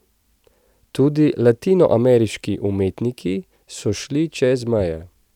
Tudi latinoameriški umetniki so šli čez meje.